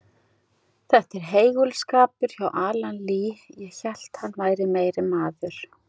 Þetta var heigulskapur hjá Alan Lee, ég hélt hann væri meiri maður.